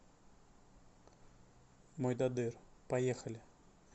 мойдодыр поехали